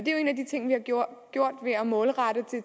en af de ting vi har gjort ved at målrette det